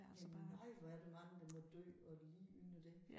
Men nøj hvor er der mange der må dø og lide under det